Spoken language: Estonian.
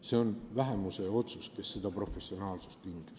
See on vähemuse otsus, millega seda professionaalsust hinnati.